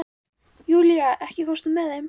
Júlía, ekki fórstu með þeim?